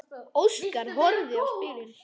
Óskar horfði á spilin.